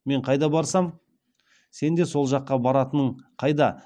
мен қайда барсам сен де сол жаққа баратының қайда